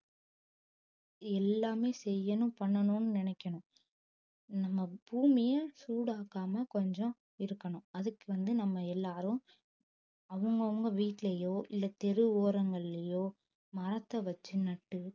எல்லாமே செய்யணும் பண்ணனும்னு நினைக்கணும் நம்ம பூமியை சூடாக்காம கொஞ்சம் இருக்கணும் அதுக்கு வந்து நம்ம எல்லாரும் அவங்கவங்க வீட்டிலேயோ இல்லை தெரு ஓரங்களிலேயோ மரத்தை வச்சு நட்டு